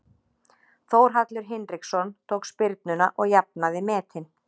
Þórhallur Hinriksson tók spyrnuna og jafnaði metin.